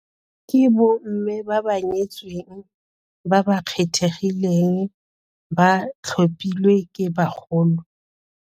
Ke bomme ba ba nyetsweng ba ba kgethegileng ba tlhophilwe ke bagolo.